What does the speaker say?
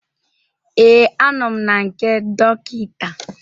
Ee, anọ m na nke dọkịta